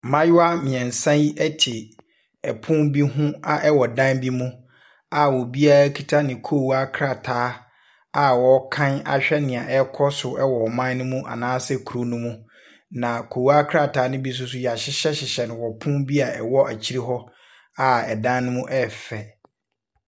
Mmaayewa mmeɛnsa yi te pono bi ho a ɛ dan bi mu a obiara kita ne koowaa krataa a wɔreka ahwɛ deɛ ɛrekɔ so wɔ ɔman no mu anaasɛ kuro no mu. Na koowa krataa no bi nso so, wɔahyehyɛhyehyɛ no wɔ pono bi a ɛwɔ akyire hɔ a dan no mu yɛ fɛ.